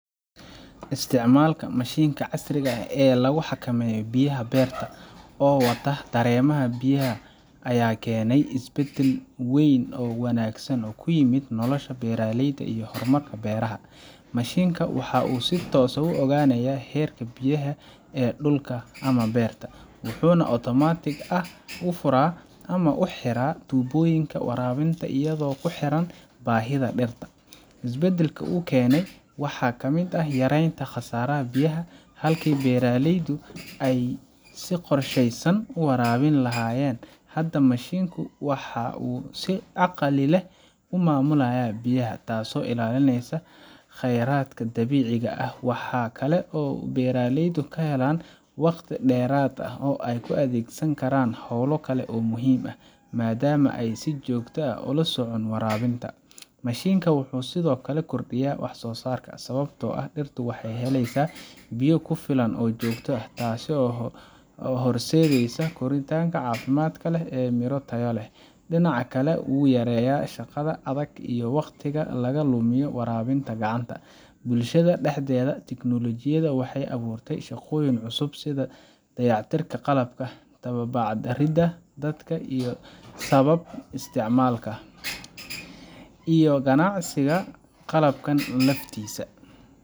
Isticmaalka mashiinkan casriga ah ee lagu xakameeyo biyaha beerta oo wata dareemaha biyaha ayaa keenay isbeddel weyn oo wanaagsan oo ku yimid nolosha beeraleyda iyo horumarka beeraha. Mashiinkan waxa uu si toos ah u ogaanayaa heerka biyaha ee dhulka ama beerta, wuxuuna si otomaatig ah u furaa ama u xiraa tuubooyinka waraabinta iyadoo ku xiran baahida dhirta. Isbeddelka uu keenay waxaa ka mid ah yareynta khasaaraha biyaha. Halkii beeraleydu ay si qorsheysnayn u waraabin lahaayeen, hadda mashiinku waxa uu si caqli leh u maamulaa biyaha, taasoo ilaalinaysa khayraadka dabiiciga ah. Waxaa kale oo ay beeraleydu helaan waqti dheeraad ah oo ay u adeegsan karaan hawlo kale oo muhiim ah, maadaama ayan si joogto ah ula socon waraabinta. Mashiinkan wuxuu sidoo kale kordhiyay wax soosaarka, sababtoo ah dhirtu waxay helaysaa biyo ku filan oo joogto ah, taasoo u horseedaysa koritaanka caafimaad leh iyo midho tayo leh. Dhinaca kale, wuxuu yareeyay shaqada adag iyo waqtiga laga lumiyo waraabinta gacanta. Bulshada dhexdeeda, teknoolojiyaddan waxay abuurtay shaqooyin cusub sida dayactirka qalabka, tababarida dadka ku sabab isticmaalka, iyo ganacsiga qalabkan laftiisa.